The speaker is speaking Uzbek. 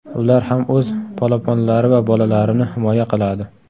Ular ham o‘z polaponlari va bolalarini himoya qiladi.